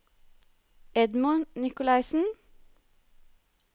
Edmund Nicolaysen